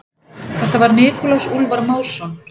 Þetta var Nikulás Úlfar Másson.